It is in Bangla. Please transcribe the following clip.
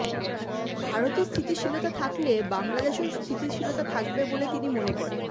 ভারতে স্থিতিশীলতা থাকলে বাংলাদেশেও স্থিতিশীলতা থাকবে বলে তিনি মনে করেন